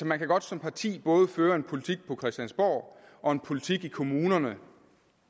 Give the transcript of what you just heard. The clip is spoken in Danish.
man kan godt som parti både føre en politik på christiansborg og en politik i kommunerne